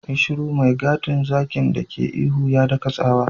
Yi shiru! mai gadin zakin dake ihu, ya daka tsawa.